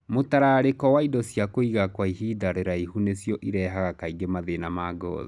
mũtararĩko na indo cia kũiga kwa ihinda rĩraihu nĩcio irehaga kaingĩ mathĩna ma gothi.